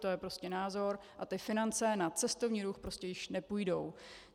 To je prostě názor a ty finance na cestovní ruch prostě již nepůjdou.